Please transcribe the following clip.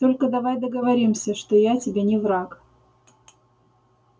только давай договоримся что я тебе не враг